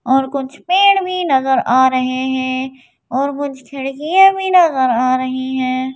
और कुछ पेड़ भी नजर आ रहे हैं और कुछ खिड़कियाँ भी नजर आ रही है।